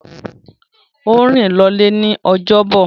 Ó rìn lọlé ní ojọ́bọ̀.